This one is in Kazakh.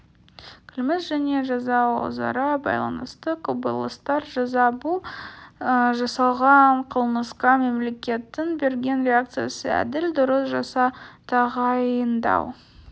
қылмыс және жаза өзара байланысты құбылыстар жаза бұл жасалған қылмысқа мемлекеттің берген реакциясы әділ дұрыс жаза тағайындау